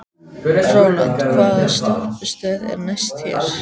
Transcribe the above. Rólant, hvaða stoppistöð er næst mér?